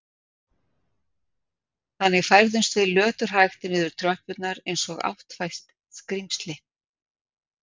Þannig færðumst við löturhægt niður tröppurnar eins og áttfætt skrímsli.